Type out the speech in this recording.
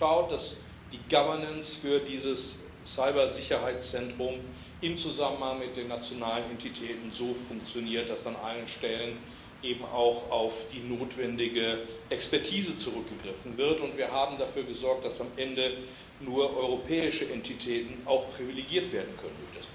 Wir haben geschaut, dass die Governance für dieses Cybersicherheitszentrum im Zusammenhang mit den nationalen Entitäten so funktioniert, dass an allen Stellen eben auch auf die notwendige Expertise zurückgegriffen wird, und wir haben dafür gesorgt, dass am Ende nur europäische Entitäten durch das Programm auch privilegiert werden können.